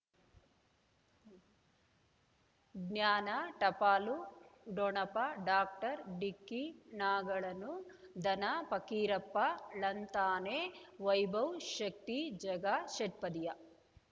ಜ್ಞಾನ ಟಪಾಲು ಡೊಣಪ ಡಾಕ್ಟರ್ ಢಿಕ್ಕಿ ಣಗಳನು ಧನ ಪಕೀರಪ್ಪ ಳಂತಾನೆ ವೈಭವ್ ಶಕ್ತಿ ಝಗಾ ಷಟ್ಪದಿಯ